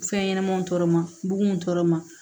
Fɛn ɲɛnɛmaniw tɔɔrɔ ma bon tɔɔrɔ ma